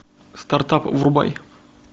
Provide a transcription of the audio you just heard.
стартап врубай